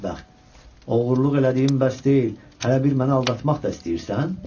Ay bədbəxt, oğurluq elədiyin bəs deyil, hələ bir məni aldatmaq da istəyirsən?